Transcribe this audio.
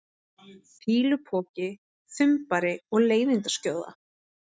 fýlupoki, þumbari og leiðindaskjóða?